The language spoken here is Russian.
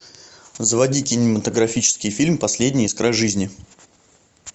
заводи кинематографический фильм последняя искра жизни